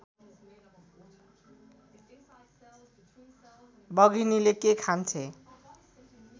बघिनीले के खान्छे